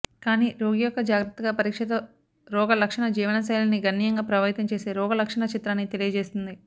కానీ రోగి యొక్క జాగ్రత్తగా పరీక్షతో రోగలక్షణ జీవనశైలిని గణనీయంగా ప్రభావితం చేసే రోగలక్షణ చిత్రాన్ని తెలియజేస్తుంది